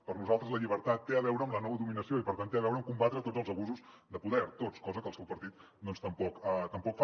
per nosaltres la llibertat té a veure amb la no dominació i per tant té a veure amb combatre tots els abusos de poder tots cosa que el seu partit doncs tampoc fa